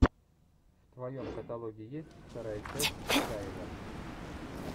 в твоем каталоге есть вторая часть исаева